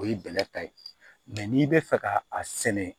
O ye bɛlɛ ta ye n'i bɛ fɛ ka a sɛnɛ